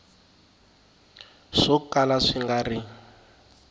swo kala swi nga ri